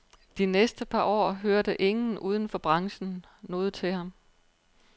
De næste par år hørte ingen uden for branchen noget til ham.